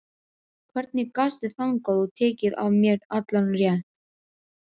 Hvernig gastu þagað og tekið af mér allan rétt?